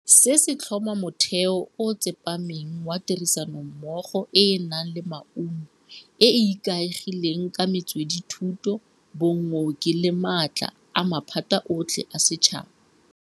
Se se tlhoma motheo o o tsepameng wa tirisanommogo e e nang le maungo, e e ikaegileng ka metswedithuso, bokgoni le maatla a maphata otlhe a setšhaba.